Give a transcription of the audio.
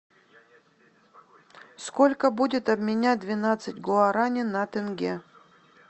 сколько будет обменять двенадцать гуараней на тенге